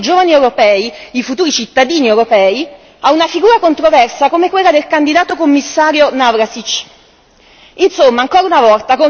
Perché pensate di affidare le sorti dei giovani europei, i futuri cittadini europei, a una figura controversa come quella del candidato Commissario Navracsics?